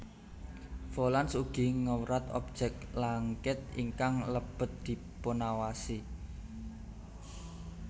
Volans ugi ngewrat objek langkit ingkang lebet dipunawasi